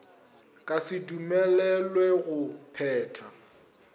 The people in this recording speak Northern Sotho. ka se dumelelwe go phetha